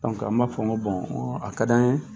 an b'a fɔ ko a ka di an ye